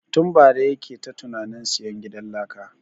Tun bara yake ta tunanin sayan gidan laka